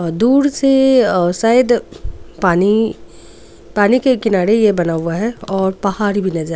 दूर से शायद पानी के किनारे ये बना हुआ है और पहाड़ भी नजर.